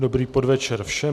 Dobrý podvečer všem.